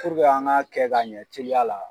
an ŋ'a kɛ ka ɲɛ teliya la